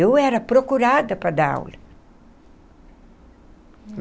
Eu era procurada para dar aula.